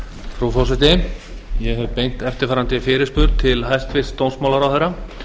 frú forseti ég hef beint eftirfarandi fyrirspurn til hæstvirts dómsmálaráðherra